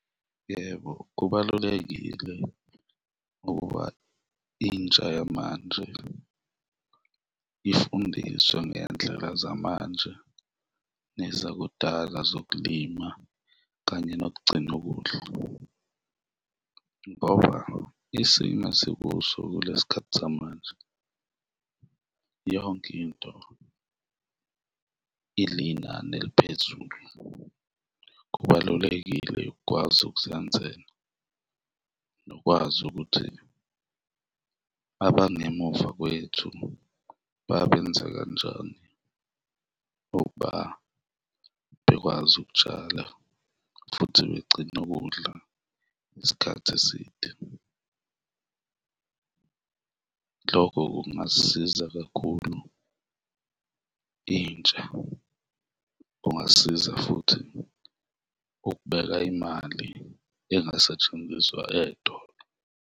Yebo, kubalulekile ukuba intsha yamanje ifundiswe ngendlela zamanje nezakudala zokulima kanye nokugcina ukudla ngoba isimo esikuso kulesi khathi samanje, yonke into ilinani eliphezulu. Kubalulekile ukwazi ukuzenzela nokwazi ukuthi abangemuva kwethu babenza kanjani ukuba bekwazi ukutshala futhi begcine ukudla isikhathi eside, lokho kungasisiza kakhulu intsha kungasiza futhi ukubeka imali engasetshenziswa ey'tolo.